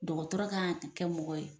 Dɔgɔtɔrɔ kan ka kɛ mɔgɔ ye